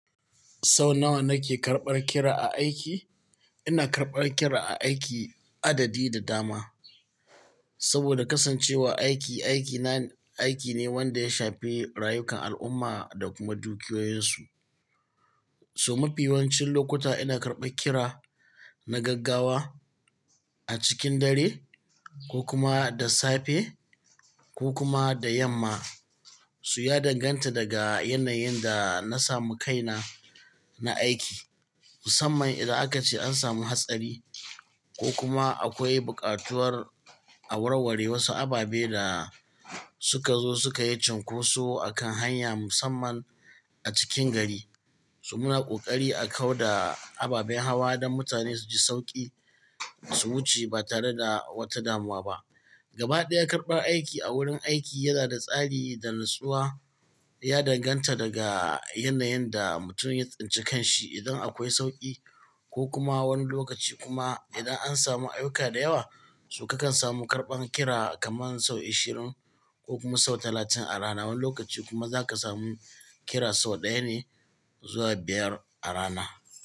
Sau nawa nake karɓar kira a aiki? Ina karɓar kira a aiki adadi da dama. Saboda kasancewa aiki, aiki na, aiki ne wanda ya shafi rayukan al'umma da kuma dukiyoyinsu. So mafi yawancin lokuta ina karɓa kira na gaggawa a cikin dare ko kuma da safe ko kuma da yamma. Su ya danganta daga yanayin da na samu kaina na aiki. Musamman idan aka ce an samu hatsari ko kuma akwai bukatuwar a warware wasu ababe da suka zo suka yi cun koso a kan hanya musamman a cikin gari. So muna kokari a kau da ababen hawa don mutane su ji sauƙi su wuce ba tare da wata damuwa ba. Gaba ɗaya karɓar aiki a wurin aiki yana da tsari da nutsuwa. Ya danganta daga yanayin da mutum ya tsinci kan shi. Idan akwai sauƙi ko kuma wani lokaci kuma idan an samu ayyuka da yawa, so kakan samu karɓan kira kaman sau ashirin ko kuma sau talatin a rana. Wani lokaci kuma za ka samu kira sau ɗaya ne zuwa biyar a rana.